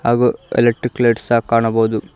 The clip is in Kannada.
ಹಾಗು ಎಲೆಕ್ಟ್ರಿಕ್ ಲೈಟ್ ಸಹ ಕಾಣಬೋದು.